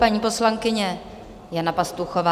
Paní poslankyně Jana Pastuchová.